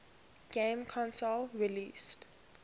game console released